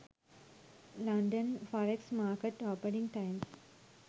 london forex market opening times